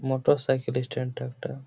Motor cycle এর stand একটা ।